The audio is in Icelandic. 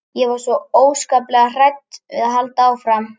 Ég var svo óskaplega hrædd við að halda áfram.